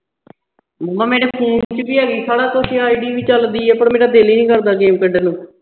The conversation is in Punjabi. ਮਾਮਾ ਮੇਰੇ phone ਵਿਚ ਵੀ ਹੈਗੀ ਸਾਰਾ ਕੁਝ ਆ ID ਵੀ ਚੱਲਦੀ ਏ ਪਰ ਮੇਰਾ ਦਿਲ ਈ ਨਹੀਂ ਕਰਦਾ game ਖੇਡਣ ਨੂੰ।